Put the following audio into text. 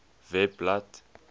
webblad